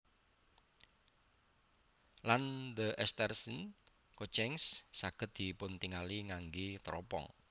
Lan the asterism Coathanger saged dipuntingali ngangge teropong